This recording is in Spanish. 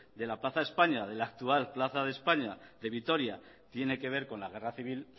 de la plaza de españa de la actual plaza de españa de vitoria tiene que ver con la guerra civil